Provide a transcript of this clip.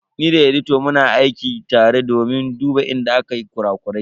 Ni da editan muna aiki tare domin duba inda akwai kura-kurai.